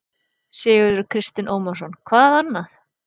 Sigurður Kristinn Ómarsson: Hvað annað?